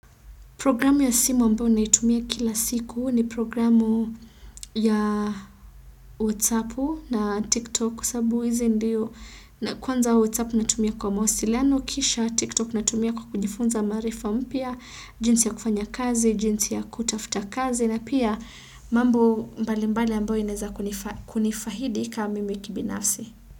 Programu ya simu ambao naitumia kila siku ni programu ya whatsappu na tiktok kwasababu hizi ndio na kwanza whatsapp natumia kwa mawasiliano kisha tiktok natumia kwa kujifunza maarifa mpya, jinsi ya kufanya kazi, jinsi ya kutafuta kazi na pia mambo mbalimbali ambao inaeza kunifahidi ka mimi kibinafsi.